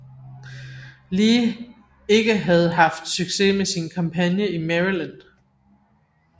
Lee ikke havde haft succes med sin kampagne i Maryland